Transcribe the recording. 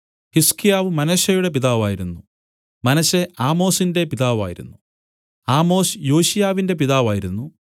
ഹിസ്കീയാവ് മനശ്ശെയുടെ പിതാവായിരുന്നു മനശ്ശെ ആമോസിന്റെ പിതാവായിരുന്നു ആമോസ് യോശിയാവിന്റെ പിതാവായിരുന്നു